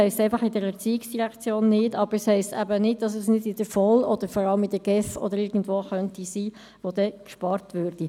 Es heisst einfach, in der ERZ nicht, aber es heisst eben nicht, dass es nicht in der VOL, vor allem in der GEF oder irgendwo anders sein könnte, wo gespart würde.